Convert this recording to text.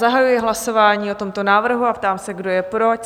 Zahajuji hlasování o tomto návrhu a ptám se, kdo je pro?